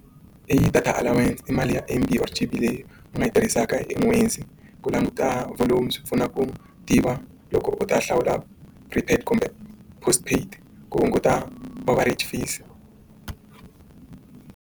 I data allowance i mali ya leyi u nga yi tirhisaka i ku languta volume byi pfuna ku dirowa loko u ta hlawula prepare kumbe post ku hunguta coverage face.